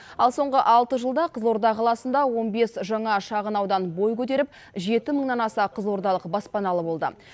ал соңғы алты жылда қызылорда қаласында он бес жаңа шағын аудан бой көтеріп жеті мыңнан аса қызылордалық баспаналы болды